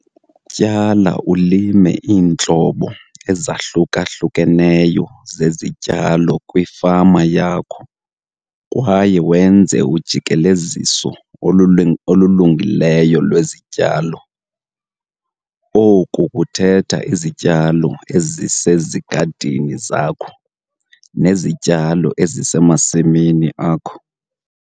Tyala ulime iintlobo ezahluka-hlukeneyo zezityalo kwifama yakho kwaye wenze ujikeleziso olulungileyo lwezityalo. Oku kuthetha izityalo ezisezigadini zakho nezityalo ezisemasimini akho.